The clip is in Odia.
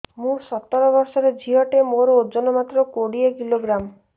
ମୁଁ ସତର ବର୍ଷ ଝିଅ ଟେ ମୋର ଓଜନ ମାତ୍ର କୋଡ଼ିଏ କିଲୋଗ୍ରାମ